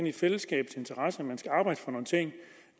i fællesskabets interesse at man skal arbejde for nogle ting